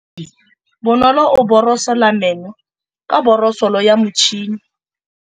Bonolô o borosola meno ka borosolo ya motšhine.